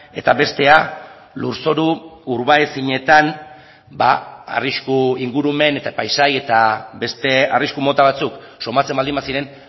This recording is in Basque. eta bestea lurzoru urba ezinetan arrisku ingurumen eta paisaia eta beste arrisku mota batzuk somatzen baldin baziren